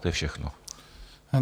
To je všechno.